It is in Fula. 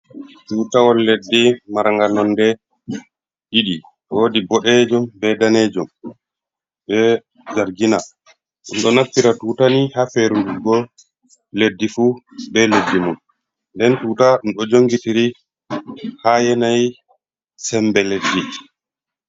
Tutawol leddi maranga nonde ɗiɗi wodi boɗejum, be danejum be dargina. ndo naftira tutani ha ferdugo leddi fu be leddi mum den tuta um ɗo jongitiri ha yanayi sembe leddi.